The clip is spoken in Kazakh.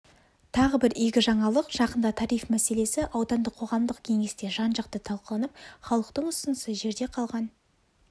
тағы бір игі жаңалық жақында тариф мәселесі аудандық қоғамдық кеңесте жан-жақты талқыланып халықтың ұсынысы жерде қалған